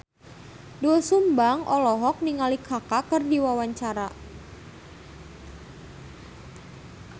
Doel Sumbang olohok ningali Kaka keur diwawancara